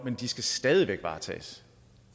men de skal stadig væk varetages